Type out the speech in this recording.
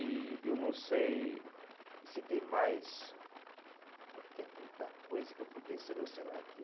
E eu não sei se tem mais, porque é tanta coisa que eu podia selecionar aqui.